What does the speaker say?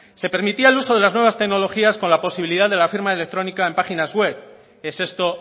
se permitía el uso de las nuevas tecnologías con la posibilidad de la firma electrónica en páginas web es esto